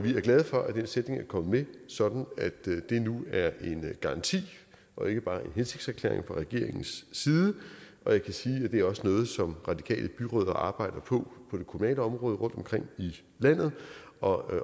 er glade for at den sætning er kommet med sådan at det nu er en garanti og ikke bare en hensigtserklæring fra regeringens side og jeg kan sige at det også er noget som radikale byrødder arbejder på på det kommunale område rundtomkring i landet og